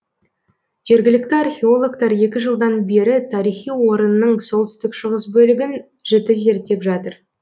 жергілікті археологтар екі жылдан бері тарихи орынның солтүстік шығыс бөлігін жіті зерттеп жатыр